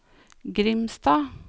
Grimstad